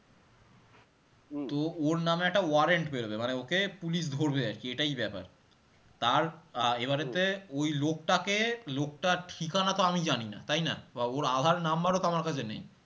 তো ওর নাম এ একটা warrent বেরোবে, মানে ওকে police ধরবে আর কি এটাই ব্যাপার তার আহ ওই লোকটাকে লোকটার ঠিকানা তো আমি জানি না তাইনা? বা ওর আঁধার number ও তো আমার কাছে নেই